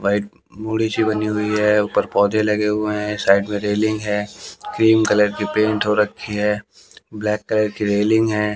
White सी बनी हुई है ऊपर पौधे लगे हुए हैं साइड में रेलिंग है क्रीम कलर की पेंट हो रखी है ब्लैक कलर की रेलिंग है।